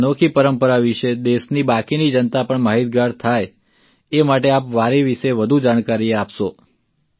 આ અનોખી પરંપરા વિશે દેશની બાકીની જનતા પણ માહીતગાર થાય એ માટે આપ વારી વિશે વધુ જાણકારી આપશો